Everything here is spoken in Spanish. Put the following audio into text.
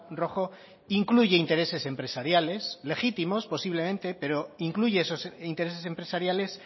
rojo incluye intereses empresariales legítimos posiblemente pero incluye esos intereses empresariales